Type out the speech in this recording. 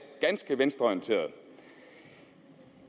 ganske venstreorienterede